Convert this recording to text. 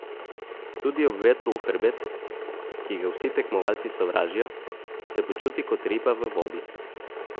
Tudi ob vetru v hrbet, ki ga vsi tekmovalci sovražijo, se počuti kot riba v vodi.